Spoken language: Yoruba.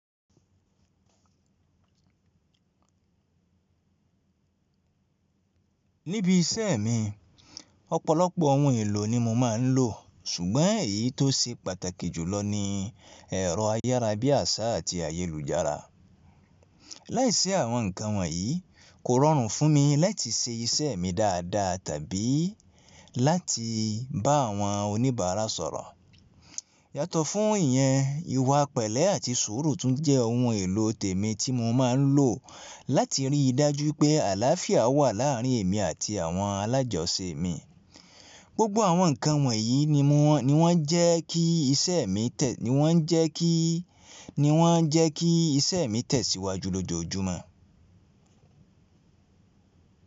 Níbi iṣẹ́ mi, ọ̀pọ̀lọpọ̀ ohun èlò ni mo máa ń lò, ṣùgbọ́n èyí tó ṣe pàtàkì jùlọ ni ẹ̀rọ ayárabíàṣá àti ayélujára. Láìsí àwọn nǹkan wọ̀nyí, kò rọrùn fún mi láti ṣe iṣẹ́ mi dáadáa tàbí láti bá àwọn oníbàárà sọ̀rọ̀. Yàtọ̀ fún ìyẹn, ìwà pẹ̀lẹ́ àti sùúrù tún jẹ́ ohun èlò tèmi tí mo máa ń lò láti rí i dájú pé àlàáfíà wà láàárín èmi àti àwọn alájọṣe mi. Gbogbo àwọn nǹkan wọ̀nyí ni wọ́n jẹ́ kí iṣẹ́ mi tẹ̀ síwájú lójoojúmọ́.